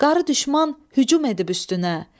Qarı düşman hücum edib üstünə.